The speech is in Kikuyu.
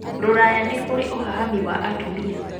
Rũraya nĩ kũrĩ ũhahami wa atumia